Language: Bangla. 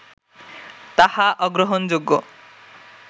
তাহা অগ্রহণযোগ্য